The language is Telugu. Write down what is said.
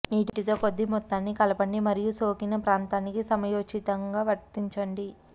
నీటితో కొద్ది మొత్తాన్ని కలపండి మరియు సోకిన ప్రాంతానికి సమయోచితంగా వర్తించండి